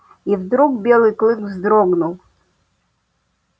и вдруг белый клык вздрогнул